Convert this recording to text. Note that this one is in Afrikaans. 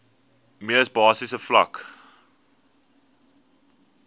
mees basiese vlak